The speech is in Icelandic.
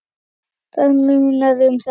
Það munar um þetta.